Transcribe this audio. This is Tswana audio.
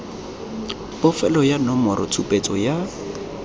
bofelo ya nomoro tshupetso ya